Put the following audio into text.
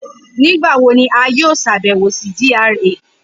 Nigbawo ni a yoo ṣabẹwo si wọn ni GRA.